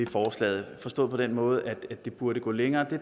forslaget forstået på den måde at det burde gå længere